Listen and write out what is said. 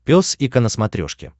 пес и ко на смотрешке